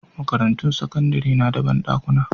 Makarantun sakandare na da banɗakuna